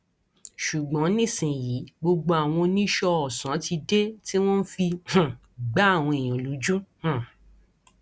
ṣùgbọn nísìnyìí gbogbo àwọn oníṣọọ ọsán ti dé tí wọn fi ń um gba àwọn èèyàn lójú um